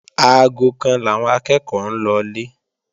Aago kan làwọn akẹ́ẹ̀kọ́ ń lọlé